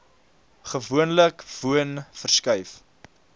gewoonlik woon verskuif